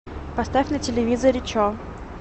поставь на телевизоре че